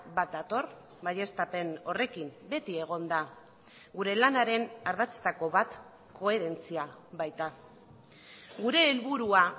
bat dator baieztapen horrekin beti egon da gure lanaren ardatzetako bat koherentzia baita gure helburua